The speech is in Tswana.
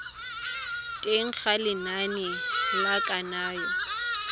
teng ga lenane la kananyo